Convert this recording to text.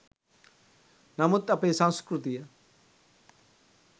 නමුත් අපේ සංස්කෘතිය